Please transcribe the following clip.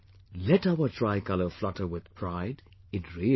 Let our tricolour flutter with pride in RIO